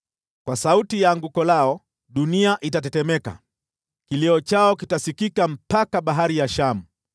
Kwa sauti ya anguko lao, dunia itatetemeka. Kilio chao kitasikika hadi Bahari ya Shamu.